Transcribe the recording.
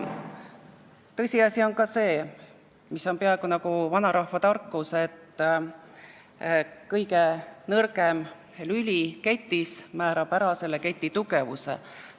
Tõsiasi on ka see, mis on peaaegu nagu vanarahva tarkus, et kõige nõrgem lüli ketis määrab ära selle keti tugevuse.